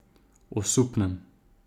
Osupnem.